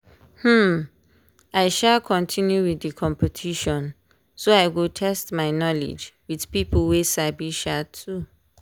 um i um continue with the competition so i go test my knowledge with people wey sabi um too.